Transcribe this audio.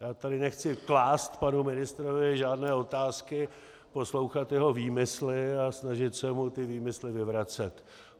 Já tady nechci klást panu ministrovi žádné otázky, poslouchat jeho výmysly a snažit se mu ty výmysly vyvracet.